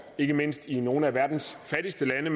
ikke mindst i nogle af verdens fattigste lande